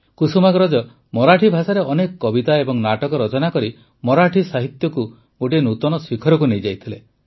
କୁସୁମାଗ୍ରଜ ମରାଠୀ ଭାଷାରେ ଅନେକ କବିତା ଏବଂ ନାଟକ ରଚନା କରି ମରାଠୀ ସାହିତ୍ୟକୁ ଗୋଟିଏ ନୂତନ ଶିଖରକୁ ନେଇଯାଇଥିଲେ